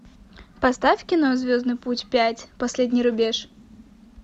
поставь кино звездный путь пять последний рубеж